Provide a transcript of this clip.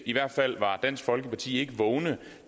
i hvert fald var dansk folkeparti ikke vågne